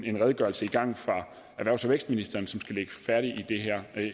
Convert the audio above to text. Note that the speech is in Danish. en redegørelse i gang fra erhvervs og vækstministeren som skal ligge færdig